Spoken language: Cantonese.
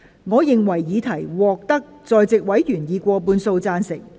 我認為議題獲得在席委員以過半數贊成。